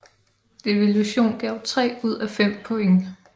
Devilution gav tre ud af fem point